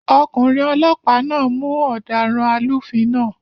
Ọkùnrin olọ́pàá náà mú ọ̀daràn alúfin náà